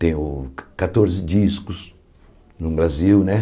Tenho catorze discos no Brasil, né?